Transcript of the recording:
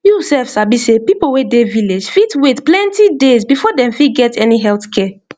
you sef sabi sey people wey dey village fit wait plenty days before dem fit get any health care